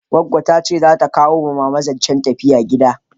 Goggo ta ce za ta kawo ma mama zancen tafiya gida